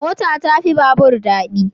Mota ta fi babur dadi